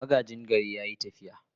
Magaji gari ya yi tafiya.